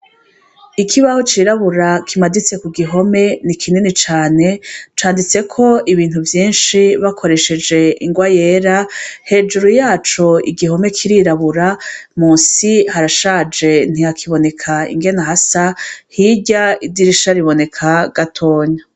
Ikibaho cirabura kimaditse kugihome ni kinini cane, canditseko ibintu vyinshi bakoresheje ingwa yera, hejuru yaco igihome kirirabura ,munsi harashaje ntihakiboneka ingene hasa, hirya idirisha riboneka gatonya.